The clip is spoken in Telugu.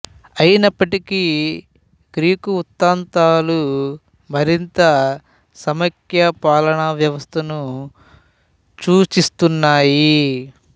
అయినప్పటికీ గ్రీకు వృత్తాంతాలు మరింత సమాఖ్య పాలన వ్యవస్థను సూచిస్తున్నాయి